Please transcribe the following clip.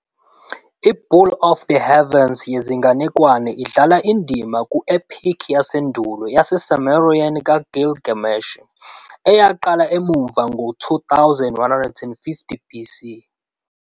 I-Bull of the Heavens yezinganekwane idlala indima ku-"Epic" yasendulo yaseSumerian kaGilgamesh, eyaqala emuva ngo-2150 BC.